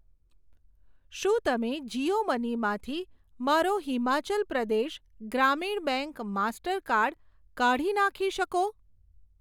શું તમે જીઓ મની માંથી મારો હિમાચલ પ્રદેશ ગ્રામીણ બેંક માસ્ટરકાર્ડ કઢી નાખી શકો?